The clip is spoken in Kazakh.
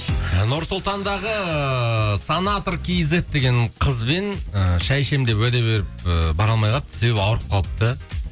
нұр сұлтандағы санатр кизет деген қызбен і шай ішемін деп уәде беріп і бара алмай қалыпты себебі ауырып қалыпты